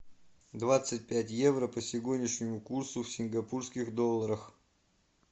двадцать пять евро по сегодняшнему курсу в сингапурских долларах